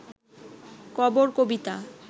কবর কবিতা